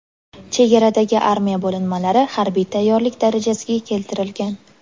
Chegaradagi armiya bo‘linmalari harbiy tayyorlik darajasiga keltirilgan.